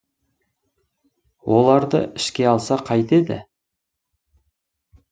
оларды ішке алса қайтеді